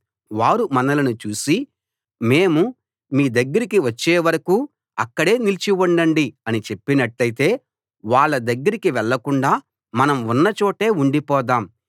వారు మనలను చూసి మేము మీ దగ్గరికి వచ్చేవరకూ అక్కడే నిలిచి ఉండండి అని చెప్పినట్టైతే వాళ్ళ దగ్గరికి వెళ్ళకుండా మనం ఉన్న చోటే ఉండిపోదాం